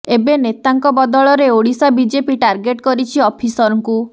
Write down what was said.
ଏବେ ନେତାଙ୍କ ବଦଳରେ ଓଡ଼ିଶା ବିଜେପି ଟାର୍ଗଟେ କରିଛି ଅଫିସରଙ୍କୁ